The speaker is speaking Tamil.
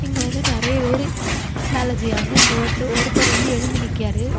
இங்க வந்து நெறய பேரு வேல செய்யாங்க இங்க ஒருத் ஒருத்தர் வந்து எழும்பி நிக்காரு.